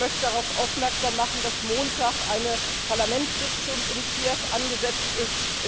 Ich möchte darauf aufmerksam machen, dass Montag eine Parlamentssitzung in Kiew angesetzt ist.